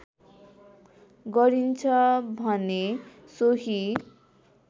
गरिन्छ भने सोही